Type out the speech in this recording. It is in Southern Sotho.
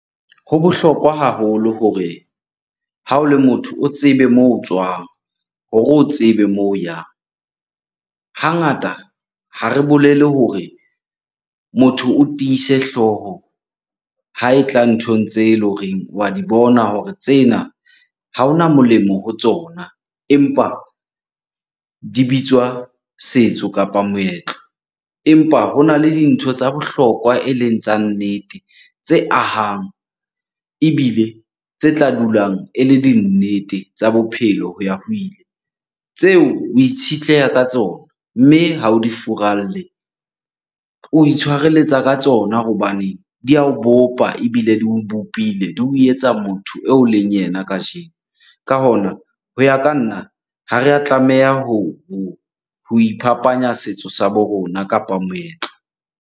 Ho bohlokwa haholo hore ha o le motho o tsebe moo o tswang hore o tsebe moo o yang. Hangata, ha re bolele hore motho o tiise hlooho ha e tla nthong tse leng horeng wa di bona hore tsena, ha hona molemo ho tsona empa di bitswa setso kapa moetlo. Empa hona le dintho tsa bohlokwa eleng tsa nnete, tse ahang ebile tse tla dulang e le di nnete tsa bophelo ho ya ho ile. Tseo o itshetleha ka tsona mme ha o di furalle. O itshwarelletsa ka tsona hobaneng di ya o bopa ebile di o bopile, di o etsa motho eo leng yena kajeno. Ka hona ho ya ka nna, ha re a tlameha ho iphapanya setso sa bo rona kapa moetlo.